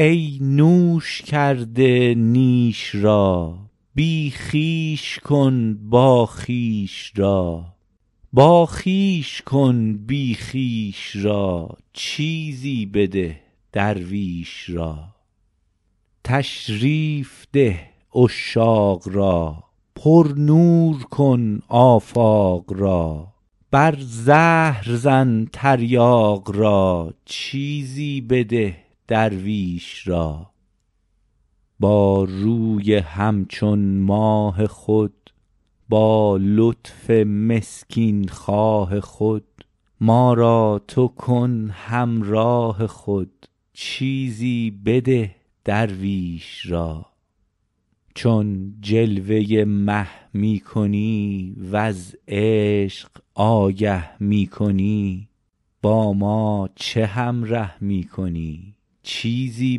ای نوش کرده نیش را بی خویش کن باخویش را باخویش کن بی خویش را چیزی بده درویش را تشریف ده عشاق را پرنور کن آفاق را بر زهر زن تریاق را چیزی بده درویش را با روی همچون ماه خود با لطف مسکین خواه خود ما را تو کن همراه خود چیزی بده درویش را چون جلوه مه می کنی وز عشق آگه می کنی با ما چه همره می کنی چیزی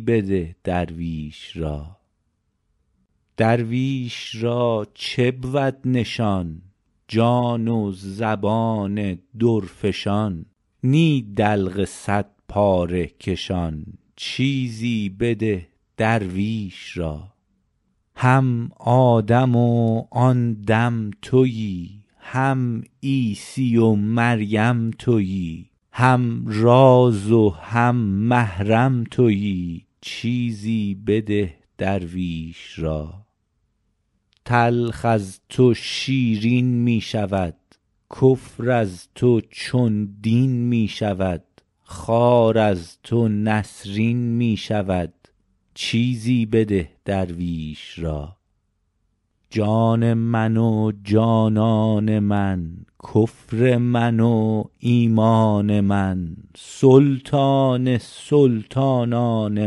بده درویش را درویش را چه بود نشان جان و زبان درفشان نی دلق صدپاره کشان چیزی بده درویش را هم آدم و آن دم توی هم عیسی و مریم توی هم راز و هم محرم توی چیزی بده درویش را تلخ از تو شیرین می شود کفر از تو چون دین می شود خار از تو نسرین می شود چیزی بده درویش را جان من و جانان من کفر من و ایمان من سلطان سلطانان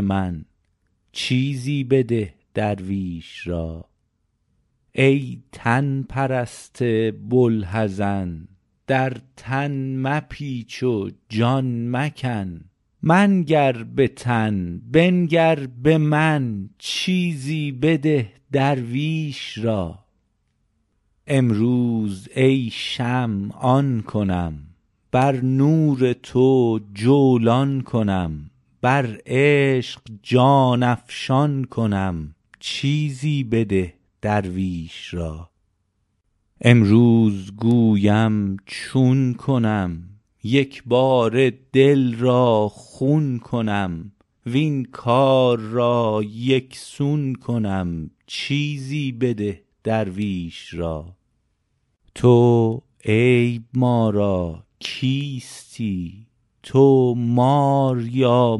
من چیزی بده درویش را ای تن پرست بوالحزن در تن مپیچ و جان مکن منگر به تن بنگر به من چیزی بده درویش را امروز ای شمع آن کنم بر نور تو جولان کنم بر عشق جان افشان کنم چیزی بده درویش را امروز گویم چون کنم یک باره دل را خون کنم وین کار را یک سون کنم چیزی بده درویش را تو عیب ما را کیستی تو مار یا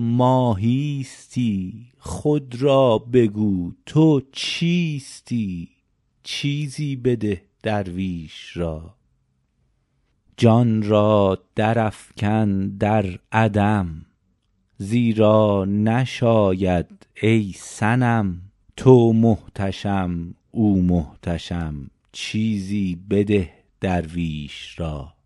ماهیستی خود را بگو تو چیستی چیزی بده درویش را جان را درافکن در عدم زیرا نشاید ای صنم تو محتشم او محتشم چیزی بده درویش را